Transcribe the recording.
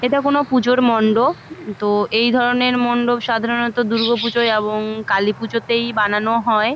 এইটা কোনো পুজোর মণ্ডপ তো এই ধরণের মণ্ডপে সাধারণত দূর্গা পুজো এবং কালী পুজোতে বানানো হয়।